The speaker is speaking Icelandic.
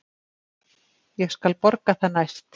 Ég skal borga það næst.